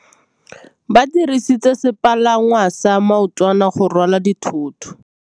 Ba dirisitse sepalangwasa maotwana go rwala dithôtô.